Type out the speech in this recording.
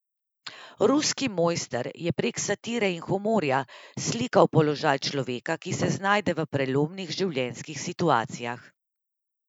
Ruski mojster je prek satire in humorja slikal položaj človeka, ki se znajde v prelomnih življenjskih situacijah.